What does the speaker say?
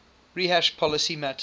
rehash policy matters